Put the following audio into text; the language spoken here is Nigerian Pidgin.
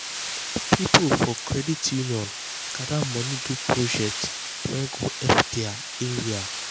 people for credit union gather money do project wey go help their area.